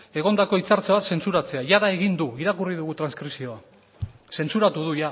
egondako hitzartze bat zentsatzea jada egin du irakurri dugu transkripzioa zentzuratu du